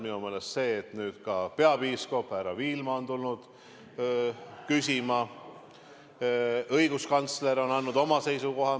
Minu meelest on hea, et ka peapiiskop härra Viilma on tulnud küsima , õiguskantsler on andnud oma seisukoha.